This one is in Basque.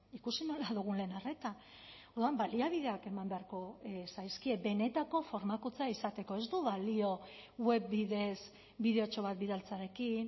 ikusi nola dugun lehen arreta orduan baliabideak eman beharko zaizkie benetako formakuntza izateko ez du balio web bidez bideotxo bat bidaltzearekin